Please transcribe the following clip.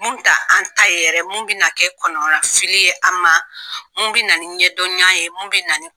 Mun tɛ an ta yɛrɛ ye, mun bɛna na kɛ kɔnɔnafili ye an ma, mun bɛna ni ɲɛndɔnna ye , mun bɛ